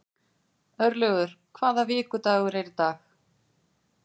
Örlygur, hvaða vikudagur er í dag?